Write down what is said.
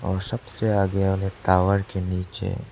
और सबसे आगे वाले टावर के नीचे--